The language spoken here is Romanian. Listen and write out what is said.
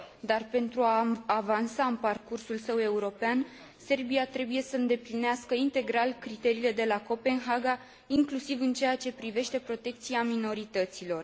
Dar, pentru a avansa în parcursul său european, Serbia trebuie să îndeplinească integral criteriile de la Copenhaga, inclusiv în ceea ce privește protecția minorităților.